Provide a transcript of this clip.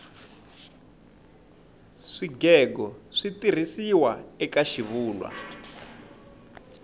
swigego switirhisiwa eka xivulwa